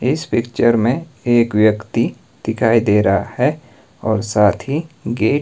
इस पिक्चर मे एक व्यक्ति दिखाई दे रहा है और साथ ही गेट --